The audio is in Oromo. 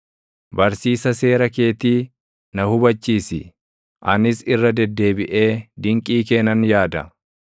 Barsiisa seera keetii na hubachiisi; anis irra deddeebiʼee dinqii kee nan yaada.